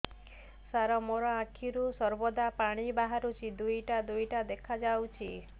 ସାର ମୋ ଆଖିରୁ ସର୍ବଦା ପାଣି ବାହାରୁଛି ଦୁଇଟା ଦୁଇଟା ଦେଖାଯାଉଛି